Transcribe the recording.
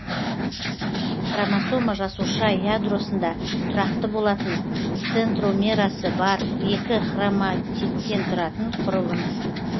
хромосома жасуша ядросында тұрақты болатын центромерасы бар екі хроматидтен тұратын құрылым